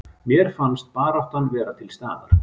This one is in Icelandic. Mér fannst baráttan vera til staðar